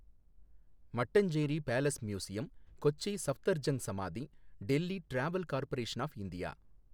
Mattancherry palace museum, Kochi Safdar Jung samadhi, Delhi travel corporation of India